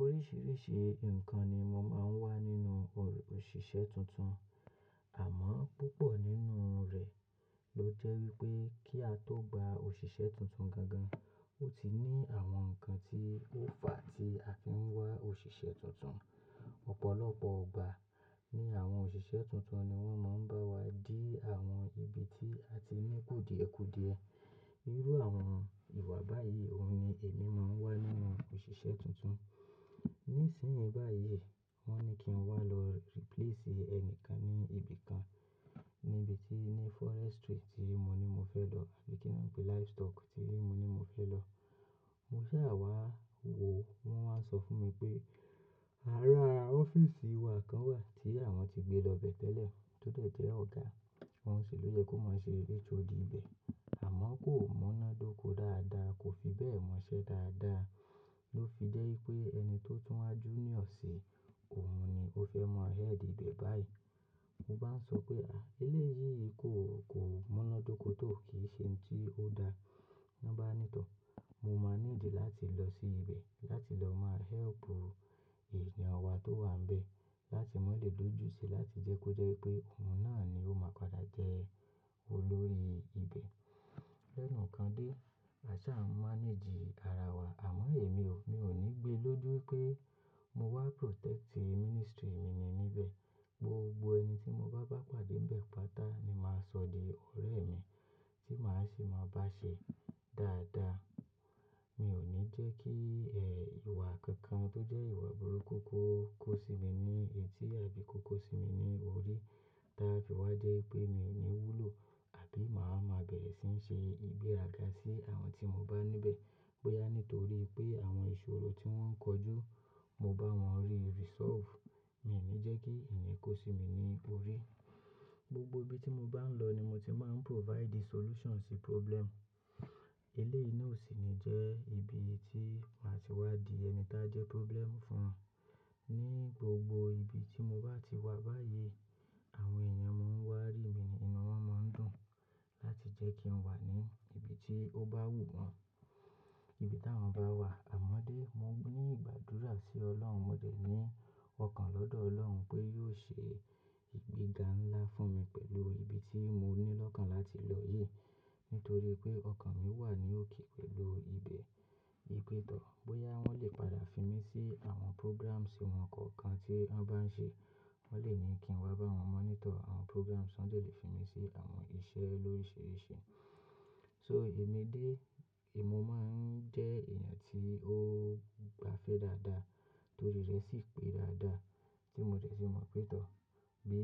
Oríṣiríṣi nǹkan ni mo máa ń wá nínú o òṣìṣẹ́ tuntun. Àmọ́ púpọ̀ nínú rẹ̀ ló jẹ́ wípé kí a tó gba òṣìṣẹ́ tuntun gan gan, ó ti ní àwọn nǹkan tí ó fà tí a fi ń wá òṣìṣẹ́ tuntun. Ọ̀pọ̀lọpọ̀ gbà ní àwọn òṣìṣẹ́ tuntun ni wọ́n máa ń bá wa dí àwọn ibi tí a ti ní kòdìẹ̀kòdìẹ̀. Irú àwọn ìwà báyìí òun ni èmi máa ń wá nínú òṣìṣẹ́ tuntun. Nísìnyí báyìí wọ́ni ní kí n wá lọ replace ẹnìkan ní ibi kan níbi tí ní forestry tí mo ní mo fẹ́ lọ ni kí n pe livestock tí mo ní mo fẹ́ lọ. Mo ṣàwà wò wọ́n máa ń sọ fún mi pé ara ọ́fíìsì wa kan wà tí àwọn ti gbé lọ bẹ́ẹ̀ tẹ́lẹ̀ tó dẹ̀ jẹ́ ọ̀gá wọn ṣèlú yẹ kó má ṣe HOD ibẹ̀. Àmọ́ kò múná dóko dáadáa, kò fi bẹ́ẹ̀ mọṣẹ́ dáadáa ló fi jẹ́ wípé ẹni tó túnwá junior sí òun ni ó fẹ́ mọ head ibẹ̀ báyìí. Mo bá ń sọ pé, "à eléyìí kò, kò múná dóko tó kì í ṣe ohun tí ó da." Wọ́n bá ní tọ̀, mo máa need láti lọ sí ibẹ̀ láti lọ máa help ènìyàn wa tó wà níbẹ̀ láti máa le dojú ti láti jẹ́ kó jẹ́ pé òun náà ni ó máa padà jẹ́ olórí ibẹ̀. Ẹnu kan dé, àṣá máa ń manage ara wa, àmọ́ èmi ò, mi ò ní gbé lójú pé mo wá protect ministry mi ni níbẹ̀. Gbogbo ẹni tí mo bá bá pàdé níbẹ̀ pátá ni màá sọ di ọ̀rẹ́ mi tí màá ṣì máa bá ṣe dáadáa. Mi ò ní jẹ́ kí, ẹ́, ìwà kankan tó jẹ́ ìwà burúkú kó kó sí mi ní etí àbí kó kó sí mi ní orí táa fi wá jẹ́ pé mi ò ní wúlò àbí màá máa bẹ̀rẹ̀ sí ní ṣe ìgbéraga sí àwọn tí mo bá níbẹ̀. Bóyá nítorí pé àwọn ìṣòro tí wọ́n ń kojú mo bá wọn rí resolve. Mi ni jẹ́ kí ẹ̀yen kó sí mi ní orí. Gbogbo ibi tí mo bá ń lọ ni mo ti máa ń provide solution sí problem. Eléyìí ná ò sì ní jẹ́ ibi tí màá ti wá di ẹni táa jẹ́ problem fún. Ní gbogbo ibi tí mo bá ti wà báyìí, àwọn èèyàn mó ń wá rí mi inú wọ́n máa ń dùn láti jẹ́ kí n wà ní ibi tí ó bá wù wọ́n, ibi tí àwọn bá wà. Àmọ́ dé, mo ní ìgbàdúrà sí Ọlọ́run, mo dẹ́ ní ọkàn lọ́dọ̀ Ọlọ́run pé yóò ṣe ìgbéga ńlá fún mi pẹ̀lú ibi tí mo ní lọ́kàn láti lọ yìí. Nítorí pé ọkàn mi wà ní òkè pẹ̀lú ibẹ̀. Wípè tọ́, bóyá wọ́n lè padà fi mí sí àwọn programs wọn kọ̀ọ̀kan tí wọ́n bá ń ṣe. Wọ́n lè ní kí n wá bá wọn monitor àwọn programs, wọ́n lè fi mí sí àwọn iṣẹ́ lórisírìsí. So èmi dé, èmi máa ń jẹ́ ènìyàn tí ó gbafẹ́ dáadáa torí rẹ̀ sì pé dáadáa tí mo dẹ̀ sì mọ̀ pé tọ̀. Bí